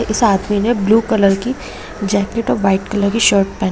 इस आदमी ने ब्लू कलर की जैकेट और वाइट कलर की शर्ट पेहेन--